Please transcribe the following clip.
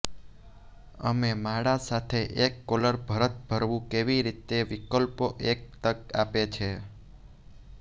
અમે માળા સાથે એક કોલર ભરત ભરવું કેવી રીતે વિકલ્પો એક તક આપે છે